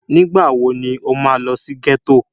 Nígbà wo ni o máa lọ sí ghetto?